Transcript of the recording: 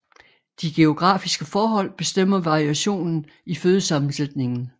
De geografiske forhold bestemmer variationen i fødesammensætningen